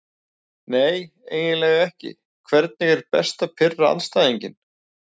Nei eiginlega ekki Hvernig er best að pirra andstæðinginn?